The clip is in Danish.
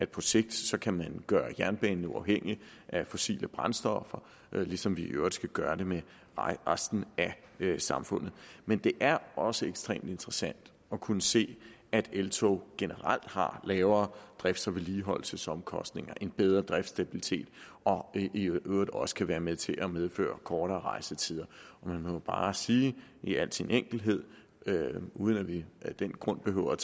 på sigt kan gøre jernbanen uafhængig af fossile brændstoffer ligesom vi i øvrigt skal gøre det med resten af samfundet men det er også ekstremt interessant at kunne se at eltog generelt har lavere drifts og vedligeholdelsesomkostninger en bedre driftsstabilitet og i øvrigt også kan være med til at medføre kortere rejsetider og man må jo bare sige i al sin enkelhed uden at vi af den grund behøver